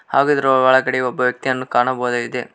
ಹಾಗು ಇದರ ಒಳಗಡೆ ಒಬ್ಬ ವ್ಯಕ್ತಿಯನ್ನು ಕಾಣಬಹುದಾಗಿದೆ.